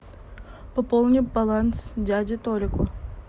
пополни баланс дяде толику